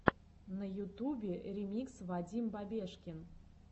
на ютубе ремикс вадим бабешкин